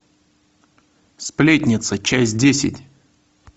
сплетница часть десять